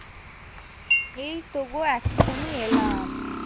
এইতো গো এক্ষুনি এলাম।